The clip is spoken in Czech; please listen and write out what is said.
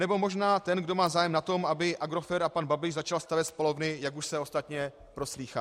Nebo možná ten, kdo má zájem na tom, aby Agrofert a pan Babiš začal stavět spalovny, jak už se ostatně proslýchá.